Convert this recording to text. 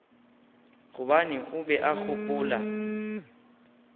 gobane o be a gopola